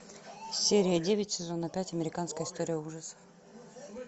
серия девять сезона пять американская история ужасов